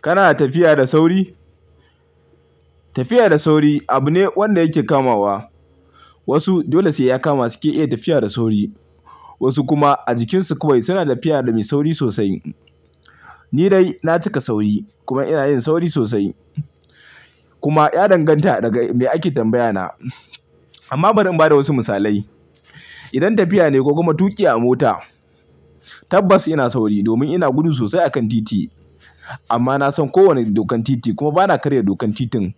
Kana tafiya da sauri? Tafiya da sauri abu ne wanda yake kamawa. Wasu dole sai ya kama suke iya tafiya da sauri. Wasu kuma a jikinsu kawai suna tafiya da mai sauri sosai. Ni dai na cika sauri kuma ina yin sauri sosai. Kuma ya danganta daga me ake tambaya na. Amma bari in bada wasu misalai. Idan tafiya ne ko kuma tuƙi a mota, tabbas ina sauri domin ina gudu sosai akan titi. Amma na san kowane dokan titi kuma ba na karya dokan titin.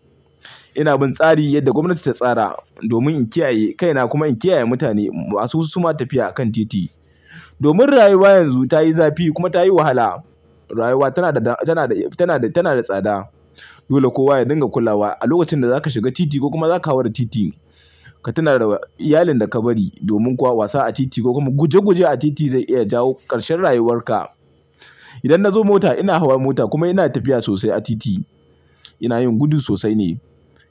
Ina bin tsari yadda gwamnati ta tsara domin in kiyaye kaina kuma in kiyaye mutane masu su ma tafiya a kan titi. Domin rayuwa yanzu tayi zafi kuma tayi wahala. Rayuwa tana da, tana da, tana da, tana da tsada. Dole kowa ya dinga kulawa a lokacin da zaka shiga titi ko kuma zaka hawa da titi ka tuna da iyalin da ka bari. Domin kuwa wasa a titi ko kuma guje guje a titi zai iya jawo karshen rayuwarka. Idan na zo mota ina hawa mota kuma ina tafiya sosai a titi. Ina yin gudu sosai ne,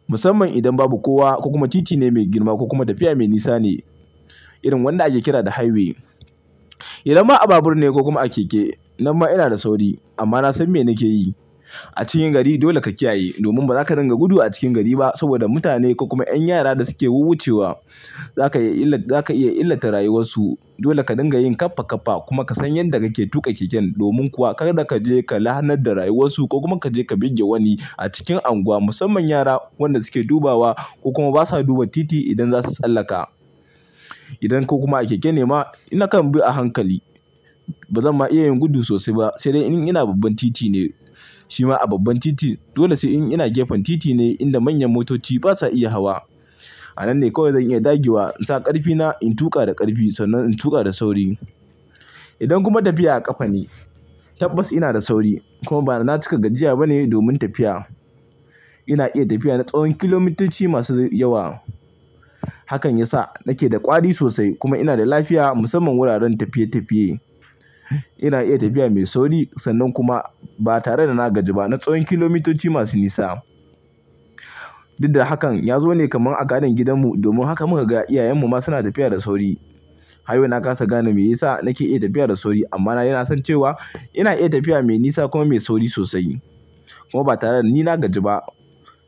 musamman idan babu kowa ko kuma titi ne mai girma ko kuma tafiya mai nisa ne irin wanda ake kira da highway. Idan ma a babur ne ko kuma a keke, nan ma ina da sauri amma na san mene ke yi. A cikin gari dole ka kiyaye domin bazaka ringa gudu a cikin gari ba saboda mutane ko kuma 'yan yara da suke wucewa. Zaka iya, za ka iya illata rayuwarsu. Dole ka dinga yin kafa kafa kuma ka san yadda kake tuƙa keken. Domin kuwa kar ka je ka lahannar da rayuwarsu ko kuma ka je ka buge wani a cikin unguwa musamman yara wanda suke dubawa ko kuma basa duba titi idan za su tsallaka. Idan ko kuma a keke ne ma in na kan bi a hankali. Ba zan ma iya yin gudu sosai ba sai dai in ina a babban titi ne. Shi ma a babban titi dole sai in ina gefen titi ne inda manyan motoci basa iya hawa. A nan ne kawai zan iya dagewa in sa ƙarfina, in tuƙa da ƙarfi sannan in tuƙa da sauri. Idan kuma tafiya a ƙafa ne, tabbas ina da sauri kuma ba na cika gajiya ba ne domin tafiya. Ina iya tafiya na tsawon kilomitoci masu yawa. Hakan ya sa nake da ƙwari sosai kuma ina da lafiya musamman wuraren tafiye tafiye. Ina iya tafiya mai sauri sannan kuma ba tare da na gaji ba na tsawon kilomitoci masu nisa. Didda hakan ya zo ne kamar a gadon gidanmu. Domin haka muka ga iyayenmu ma suna tafiya da sauri. Har yau nakasa gane me yasa nake iya tafiya da sauri amma na daina son cewa ina iya tafiya mai nisa kuma mai sauri sosai. Kuma ba tare da ni na gaji ba.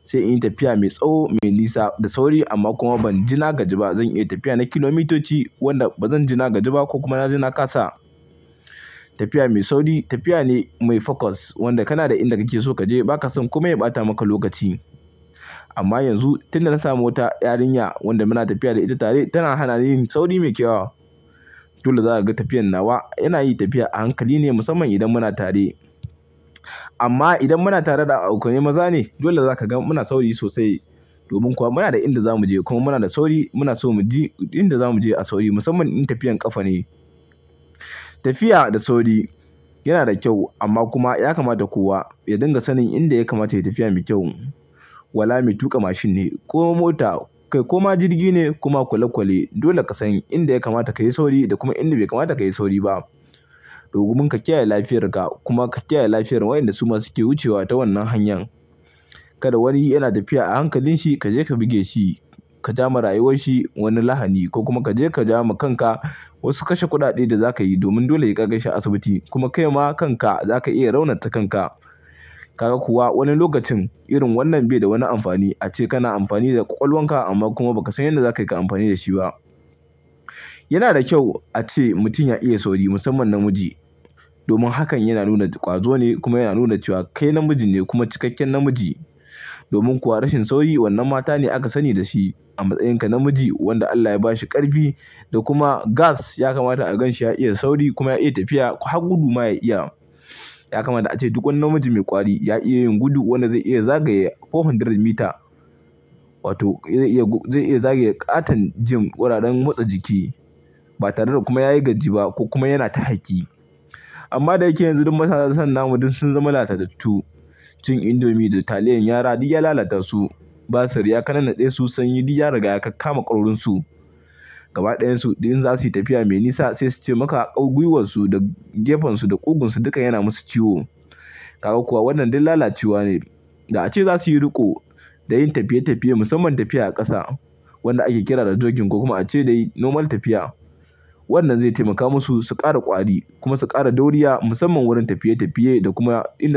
Sai in yi tafiya mai tsawo, mai nisa da sauri amma kuma ban jina gaji ba. Zan iya tafiya na kilomitoci wanda bazan jina gaji ba ko kuma na jina kasa. Tafiya mai sauri tafiya ne mai focus wanda kana da inda kake so kaje ba ka son kuma ya ɓata maka lokaci. Amma yanzu tunda na samu mota, yarinya wanda muna tafiya da ita tare tana hana ni yin sauri mai kyau. Dole za ka ga tafiyar nawa yana yi tafiya a hankali ne musamman idan muna tare. Amma idan muna tare da ɗan'aukoni maza ne, dole za ka ga mu na sauri sosai. Domin kuwa muna da inda zamu je kuma muna da sauri. Muna so mu je inda zamu je a sauri musamman in tafiyar ƙafa ne. Tafiya da sauri yana da kyau amma kuma ya kamata kowa ya dinga sanin inda ya kamata ya yi tafiya mai kyau. Wala mai tuƙa mashin ne ko mota kai kuma jirgi ne koma kwale kwale. Dole ka san inda ya kamata kayi sauri da kuma inda bai kamata kayi sauri ba. Domin ka kiyaye lafiyar ka kuma ka kiyaye lafiyar waɗanda su ma suke wucewa ta wannan hanyar. Kada wani yana tafiya a hankalin shi kaje ka buge shi, ka jama rayuwar shi wani lahani ko kuma kaje ka jama kanka wasu kashe kuɗaɗe da zakayi domin dole ya kai shi asibiti kuma kai ma kanka zaka iya raunata kanka. Kaga kuwa wani lokacin irin wannan bai da wani amfani. Ace kana amfani da ƙwaƙwalwarka amma kuma bakasan yadda zakai ka amfani da shi ba. Yana da kyau ace mutum ya iya sauri musamman namiji. Domin hakan yana nuna ƙwazo ne kuma yana nuna cewa kai namiji ne kuma cikakken namiji. Domin kuwa rashin sauri wannan mata ne aka sani da shi. Amma tsayinka namiji wanda Allah ya bashi ƙarfi da kuma gas ya kamata a gan shi ya iya sauri kuma ya iya tafiya har gudu ma ya iya. Ya kamata ace duk wani namiji mai ƙwari ya iya yin gudu wanda zai iya zagaye 400 m wato zai iya, zai iya zagaye ƙaton gym ƙwararrun motsa jiki ba tare da kuma yayi gaji ba ko kuma yana ta haki. Amma da yake yanzu dukan mazan zaman mu duk sun zama latattatu. Cin indomi da taliyar yara duk ya lalatar su. Basir yaka nannaɗe su sanyi duk ya ragaya kakkama kwairin su. Gaba ɗayan su idan za su yi tafiya mai nisa sai su ce maka akawu gwiwarsu da gefensu da ƙugunsu duka yana musu ciwo. Kaga kuwa wannan dai lalaciwa ne da ace za su yi riko da yin tafiye tafiye musamman tafiya a ƙasa wanda ake kira da jogging ko kuma ace dai normal tafiya. Wannan zai taimaka musu su ƙara ƙwari kuma su ƙara dauriya musamman wurin tafiye tafiye da kuma inda za su.